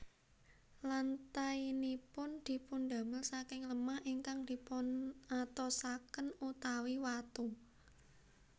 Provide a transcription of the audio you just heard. Lantainipun dipundamel saking lemah ingkang dipunatosaken utawi watu